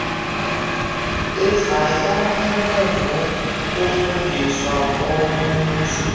ezayamene nokufuduswa komenzi